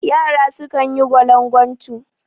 Yara sukan yi gwalangwatu